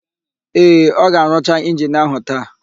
Ee, ọ ga-arụcha injini áhụ̀ taa.